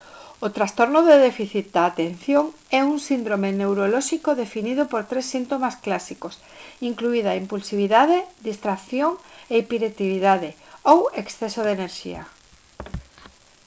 o trastorno de déficit da atención «é un síndrome neurolóxico definido por tres síntomas clásicos incluída impulsividade distracción e hiperactividade ou exceso de enerxía»